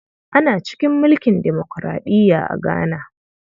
Ana cikin mulkin demokuraɗiya a Ghana.